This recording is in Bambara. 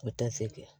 O tɛ se kɛ